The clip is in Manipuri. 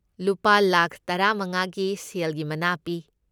ꯂꯨꯄꯥ ꯂꯥꯈ ꯇꯔꯥꯃꯉꯥꯒꯤ ꯁꯦꯜꯒꯤ ꯃꯅꯥ ꯄꯤ꯫